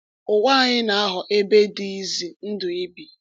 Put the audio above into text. Ụwa anyị na-aghọ ebe dị ize ndụ ibi.